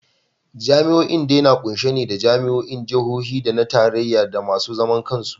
Jami’o’in dai na kunshe ne da jami’o’in Jihohi da na Tarayya da masu zaman kansu.